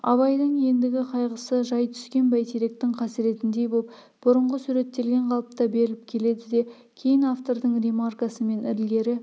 абайдың ендігі қайғысы жай түскен бәйтеректің қасіретіндей боп бұрынғы суреттелген қалыпта беріліп келеді де кейін автордың ремаркасымен ілгері